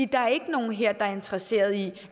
der er ikke nogen her der er interesseret i